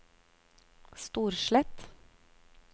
Storslett